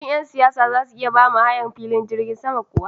Shin yan siyasa zasu iya bamu hayar filin jirgin sama kuwa?